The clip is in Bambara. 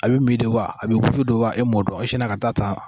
A be mi de wa a be wusu de wa a m'o dɔn e sina ka t'a ta